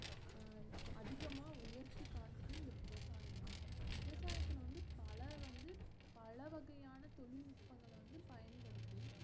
அஹ் அதிகமா உயர்த்தி காட்டுது இந்த விவசாயம் தான் விவசாயத்துல வந்து பல வந்து பலவகையான தொழில்நிட்பங்கள வந்து பயன்படுத்தி